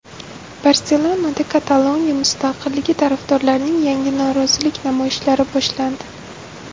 Barselonada Kataloniya mustaqilligi tarafdorlarining yangi norozilik namoyishlari boshlandi.